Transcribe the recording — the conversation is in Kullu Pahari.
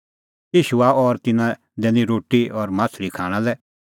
ईशू आअ और तिन्नां लै दैनी रोटी और माह्छ़ली खाणां लै